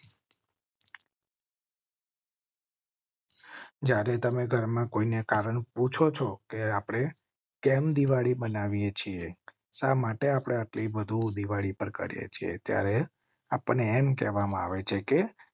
જ્યારે તમે ઘરમાં કોઈ ને કારણ પૂછો છો આપણે કેમ દિવાળી બનાવીએ છીએ. શા માટે આટલી વધુ દિવાળી પર કરેં છે ત્યારે આપ ને એમ કહેવા માં આવે છે કે